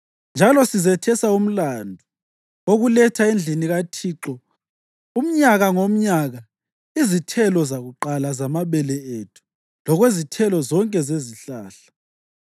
Njalo sizethesa umlandu wokuletha endlini kaThixo umnyaka ngomnyaka izithelo zakuqala zamabele ethu lokwezithelo zonke zezihlahla.